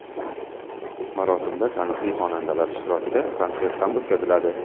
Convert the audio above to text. Marosimda taniqli xonandalar ishtirokida konsert ham o‘tkaziladi.